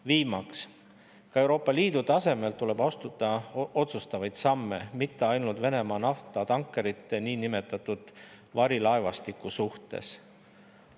Viimaks, ka Euroopa Liidu tasemel tuleb astuda otsustavaid samme, mitte ainult Venemaa naftatankerite niinimetatud varilaevastiku suhtes.